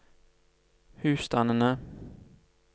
husstandene